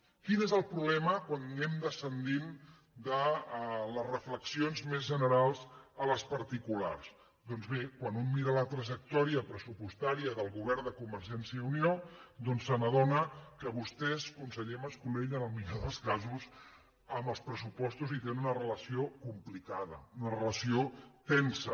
quin és el problema quan anem descendint de les reflexions més generals a les particulars doncs bé quan un mira la trajectòria pressupostària del govern de convergència i unió doncs s’adona que vostès conseller mas·colell en el millor dels casos amb els pressupostos hi tenen una relació complicada una relació tensa